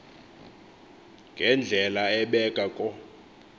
ngendlela ebheka ko